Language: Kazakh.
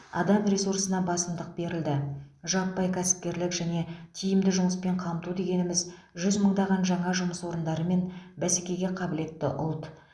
адам ресурсына басымдық берілді жаппай кәсіпкерлік және тиімді жұмыспен қамту дегеніміз жүз мыңдаған жаңа жұмыс орындары мен бәсекеге қабілетті ұлт